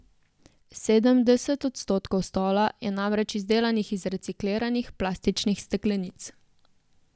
Sedemdeset odstotkov stola je namreč izdelanih iz recikliranih plastičnih steklenic.